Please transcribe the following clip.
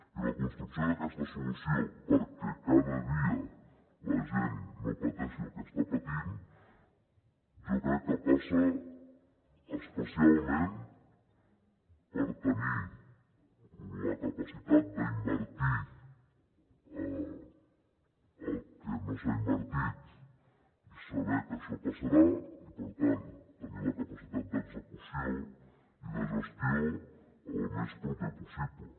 i la construcció d’aquesta solució perquè cada dia la gent no pateixi el que està patint jo crec que passa especialment per tenir la capacitat d’invertir el que no s’ha invertit i saber que això passarà i per tant tenir la capacitat d’execució i de gestió el més proper possible